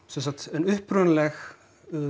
en upprunaleg